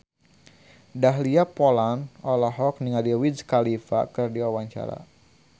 Dahlia Poland olohok ningali Wiz Khalifa keur diwawancara